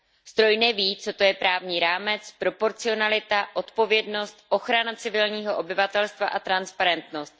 Stroj neví, co to je právní rámec, proporcionalita, odpovědnost, ochrana civilního obyvatelstva a transparentnost.